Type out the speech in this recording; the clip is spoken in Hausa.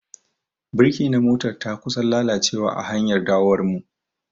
Birki na motar ta kusan lalacewa a hanyar dawowar mu.